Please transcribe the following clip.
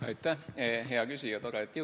Aitäh, hea küsija!